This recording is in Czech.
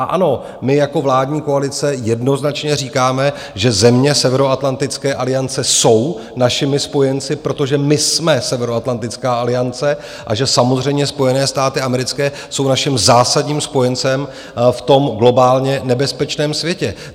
A ano, my jako vládní koalice jednoznačně říkáme, že země Severoatlantické aliance jsou našimi spojenci, protože my jsme Severoatlantická aliance, a že samozřejmě Spojené státy americké jsou naším zásadním spojencem v tom globálně nebezpečném světě.